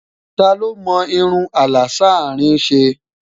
tá ló mò irún àlà s'arin ṣé?